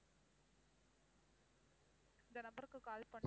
இந்த number க்கு call பண்ணி